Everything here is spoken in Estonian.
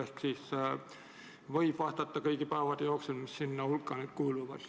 Ehk võib vastata kõigi päevade jooksul, mis sinna hulka kuuluvad.